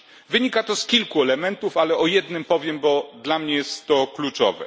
Wynika to z kilku elementów, ale o jednym powiem, bo dla mnie jest to kluczowe.